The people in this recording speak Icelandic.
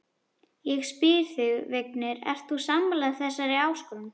Ég spyr þig, Vignir, ert þú sammála þessari áskorun?